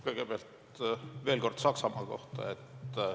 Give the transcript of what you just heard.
Kõigepealt veel kord Saksamaa kohta.